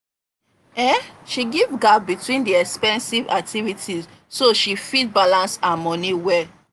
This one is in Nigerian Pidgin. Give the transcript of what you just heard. um she give gap between the expensive activities so she fit balance her money well.